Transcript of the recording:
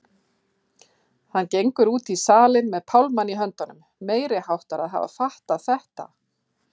Hann gengur út í salinn með pálmann í höndunum, meiriháttar að hafa fattað þetta!